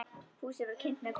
Húsið var kynt með kolum.